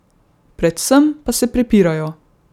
Predvsem pa se prepirajo!